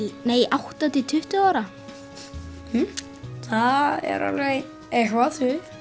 átta til tuttugu ára hmm það er alveg eitthvað